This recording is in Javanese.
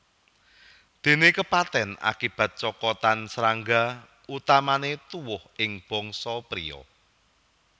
Dene kepaten akibat cokotan srangga utamane tuwuh ing bangsa priya